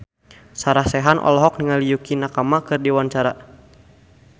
Sarah Sechan olohok ningali Yukie Nakama keur diwawancara